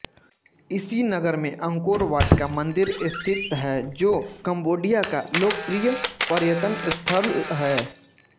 इसी नगर में अंकोरवाट का मंदिर स्थित है जो कम्बोडिया का लोकप्रिय पर्यटन स्थल है